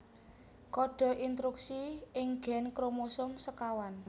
Kode intruksi ing gèn kromosom sékawan